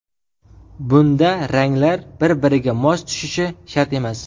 Bunda ranglar bir-biriga mos tushishi shart emas.